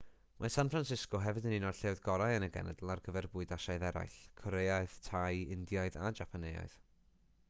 mae san francisco hefyd yn un o'r lleoedd gorau yn y genedl ar gyfer bwyd asiaidd arall coreaidd thai indiaidd a japaneaidd